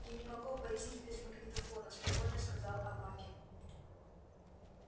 я не могу обойтись без магнитофона спокойно сказал аваким